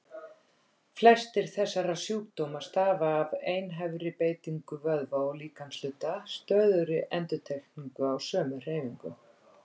Flestir þessara sjúkdóma stafa af einhæfri beitingu vöðva eða líkamshluta, stöðugri endurtekningu á sömu hreyfingum.